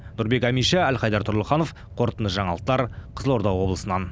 нұрбек әмиша әлхайдар тұрлыханов қорытынды жаңалықтар қызылорда облысынан